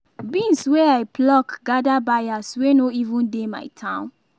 beans wey i pluck gather buyers wey no even dey my town